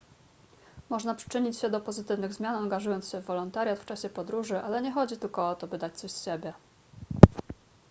można przyczynić się do pozytywnych zmian angażując się w wolontariat w czasie podróży ale nie chodzi tylko o to by dać coś z siebie